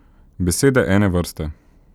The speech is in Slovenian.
Besede ene vrste.